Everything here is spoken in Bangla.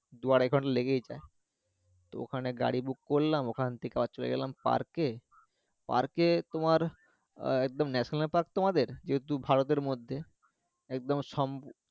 দু আড়াই ঘন্টা লেগেই যায় তো ওখানে গাড়ি Book করলাম ওখান থেকে আবার চলে গেলাম Park এ Park এ তোমার আহ একদম national park তো আমাদের যেহেতু ভারত এর মধ্যে একদম সম